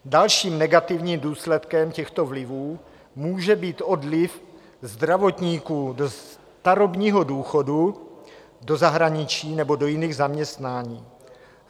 Dalším negativním důsledkem těchto vlivů může být odliv zdravotníků do starobního důchodu, do zahraničí nebo do jiných zaměstnání.